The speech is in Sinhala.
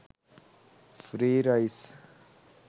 free rice